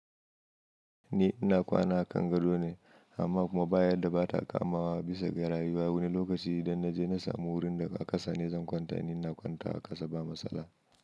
Ni ina kwana a Kangado ne amma kuma bayadda ba ta kamawa bisa garayi. Wani lokaci idan na je na samu wurin da aka sani zan kwanta ni ina kwantawa a ƙasa ba matsala.